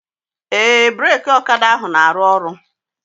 Ee, breki ọkada ahụ na-aru ọrụ